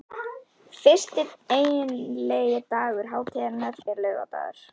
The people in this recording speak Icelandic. Fyrsti eiginlegi dagur hátíðarinnar er laugardagur.